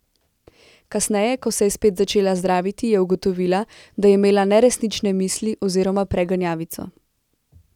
Kasneje, ko se je spet začela zdraviti, je ugotovila, da je imela neresnične misli oziroma preganjavico.